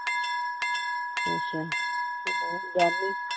ਅੱਛਾ ਹੋਰ ਗਵੰਡੀਂ